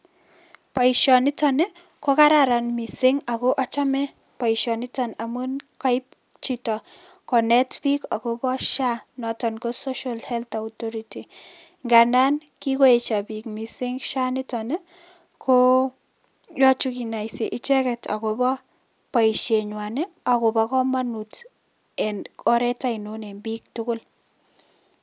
Boisionitok nii ko kararan mising ak ochome boisioniton amun koip chito konet biik akobo SHA not on ko Social Health authority, ngandan kigoyesyo biik mising SHA nitok ii koyoche kinaisi icheket akobo boisienyuan ak komonut en oret onion en biik tugul.